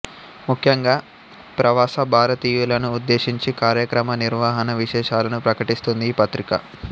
ముఖ్యంగా ప్రవాస భారతీయులను ఉద్దేశించి కార్యక్రమ నిర్వహణ విశేషాలను ప్రకటిస్తుంది ఈ పత్రిక